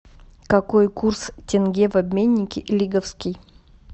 какой курс тенге в обменнике лиговский